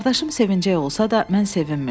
Qardaşım sevincli olsa da, mən sevinmirdim.